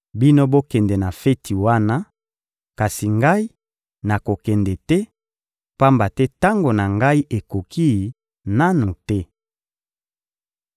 Bino, bokende na feti wana; kasi Ngai, nakokende te, pamba te tango na Ngai ekoki nanu te.